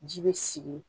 Ji bɛ sigi